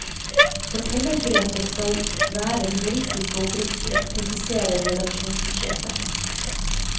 Fortellergrepet skal vær humoristisk og oppriktig, presiserer redaksjonssjefen.